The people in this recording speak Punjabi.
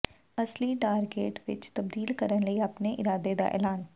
ਅਸਲੀ ਗਾਡਗੇਟ ਵਿੱਚ ਤਬਦੀਲ ਕਰਨ ਲਈ ਆਪਣੇ ਇਰਾਦੇ ਦਾ ਐਲਾਨ